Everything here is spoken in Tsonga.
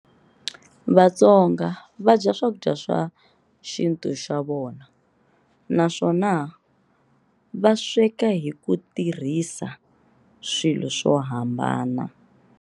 Vatsonga vadya Swakudya swa xintu xavona, naswona vasweka hikutirhisa swilo swohambana.